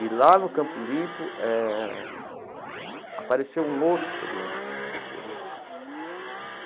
E lá no Campo Limpo eh apareceu um outro problema, entendeu?